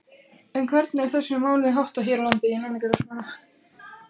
En hvernig er þessum málum háttað hér á landi?